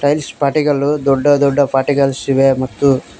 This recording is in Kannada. ಟೈಲ್ಸ್ ಪಾರ್ಟಿಕಲು ದೊಡ್ಡ ದೊಡ್ಡ ಪಾರ್ಟಿಕಲ್ಸ್ ಇವೆ ಮತ್ತು --